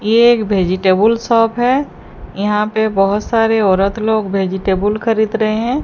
ये एक vegetable shop है यहां पे बहोत सारे औरत लोग वेजिटेबुल खरीद रहे हैं।